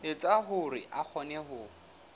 etsa hore a kgone ho